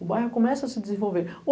O bairro começa a se desenvolver.